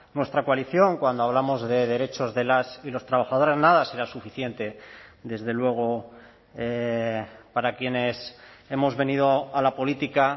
nuestra coalición cuando hablamos de derechos de las y los trabajadores nada será suficiente desde luego para quienes hemos venido a la política